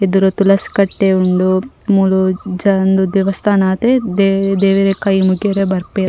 ಎದುರು ತುಲಸಿ ಕಟ್ಟೆ ಉಂಡು ಮೂಲು ಉಂದು ದೇವಸ್ಥಾನ ಅತೆ ದೇವೆರೆ ಕೈ ಮುಗ್ಗ್ಯರೆ ಬರ್ಪೆರ್ .